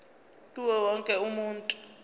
kuwo wonke umuntu